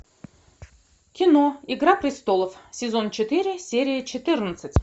кино игра престолов сезон четыре серия четырнадцать